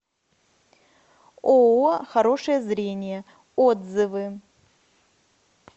ооо хорошее зрение отзывы